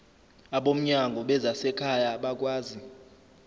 abomnyango wezasekhaya bakwazi